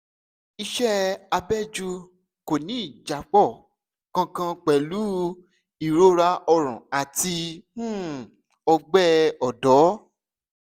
iṣẹ abẹ́jú kò ní ìjápọ̀ kankan pẹ̀lú ìrora ọrùn àti um ọgbẹ́ ọ̀dọ́